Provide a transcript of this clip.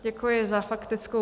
Děkuji za faktickou.